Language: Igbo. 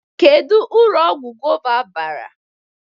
Kedu uru ọgwụ gova bara?